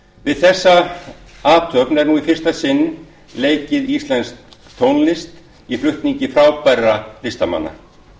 við þessa athöfn er nú í fyrsta sinn leikin íslensk tónlist í flutningi frábærra listamanna